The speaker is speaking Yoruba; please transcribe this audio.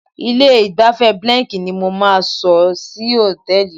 Ilé-ìgbafẹ́ Benlek ni mo máa sọ hòtẹ́ẹ̀lì mi.